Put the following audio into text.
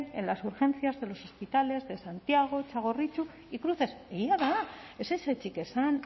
en las urgencias de los hospitales de santiago txagorritxu y cruces egia da ez ezetzik esan